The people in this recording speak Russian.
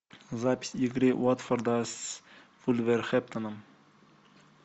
запись игры уотфорда с вулверхэмптоном